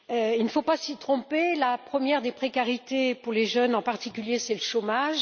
Il ne faut pas s'y tromper, la première des précarités pour les jeunes, en particulier, c'est le chômage.